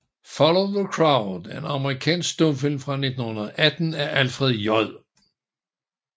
Follow the Crowd er en amerikansk stumfilm fra 1918 af Alfred J